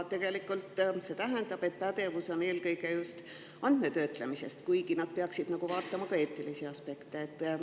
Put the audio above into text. See tähendab, et pädevus on eelkõige just andmetöötlemises, kuigi nad peaksid vaatama ka eetilisi aspekte.